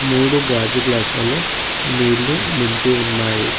మూడు గాజు గ్లాస్ లలో నీళ్ళు నింపి ఉన్నాయి.